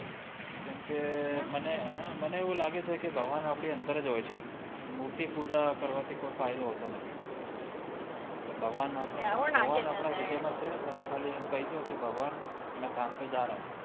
કેમ કે મને મને એવું લાગે છે કે કે ભાગવાનો આપડી અંદર જ હોય છે મૂર્તિ પૂજા કરવા થી કોઈ ફાયદો હોતો નથી ભગવાન આપડા હિદાય માં છે ને તમે ખાલી ભગવાન તમે ખાલી એમ કય દો કે મેં કામ પે જ રહા હું